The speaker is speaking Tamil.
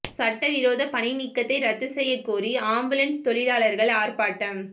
சட்ட விரோத பணி நீக்கத்தை ரத்து செய்யக் கோரி ஆம்புலன்ஸ் தொழிலாளா்கள் ஆா்ப்பாட்டம்